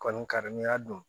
Kɔni kari n'i y'a dun